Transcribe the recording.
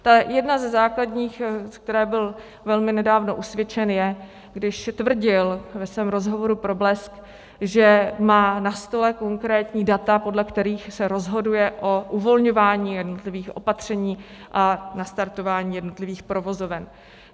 Jedna ze základních, ze které byl zcela nedávno usvědčen, je, když tvrdil ve svém rozhovoru pro Blesk, že má na stole konkrétní data, podle kterých se rozhoduje o uvolňování jednotlivých opatření a nastartování jednotlivých provozoven.